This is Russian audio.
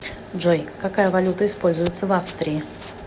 джой какая валюта используется в австрии